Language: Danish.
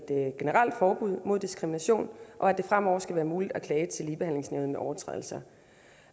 generelt forbud mod diskrimination og at det fremover skal være muligt klage til ligebehandlingsnævnet ved overtrædelser